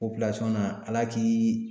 nana Ala k'i